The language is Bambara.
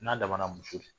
N'a damana muso de